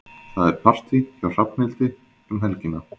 Það er partí hjá Hrafnhildi um helgina.